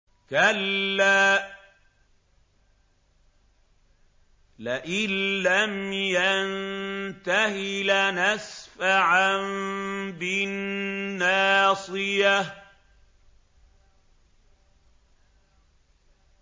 كَلَّا لَئِن لَّمْ يَنتَهِ لَنَسْفَعًا بِالنَّاصِيَةِ